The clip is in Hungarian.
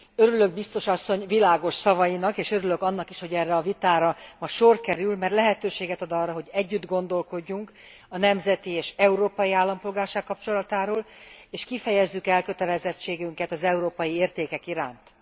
Örülök Biztos asszony világos szavainak és örülök annak is, hogy erre a vitára ma sor kerül, mert lehetőséget ad arra, hogy együtt gondolkodjunk a nemzeti és európai állampolgárság kapcsolatáról, és kifejezzük elkötelezettségünket az európai értékek iránt.